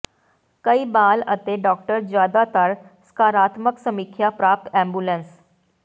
ਕਈ ਬਾਲ ਅਤੇ ਡਾਕਟਰ ਜਿਆਦਾਤਰ ਸਕਾਰਾਤਮਕ ਸਮੀਖਿਆ ਪ੍ਰਾਪਤ ਐਬੂਲਸ